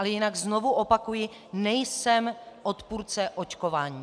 Ale jinak znovu opakuji, nejsem odpůrce očkování.